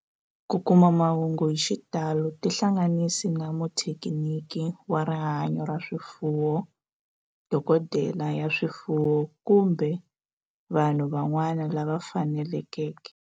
Ku kuma mahungu hi xitalo tihlanganisi na muthekiniki wa rihanyo ra swifuwo, dokodela ya swifuwo, kumbe vanhu van'wana lava fanelekeke.